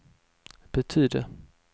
betydde